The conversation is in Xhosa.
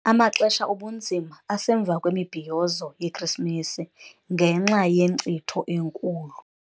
Amaxesha obunzima asemva kwemibhiyozo yeKrisimesi ngenxa yenkcitho enkulu.